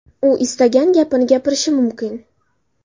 U istagan gapini gapirishi mumkin.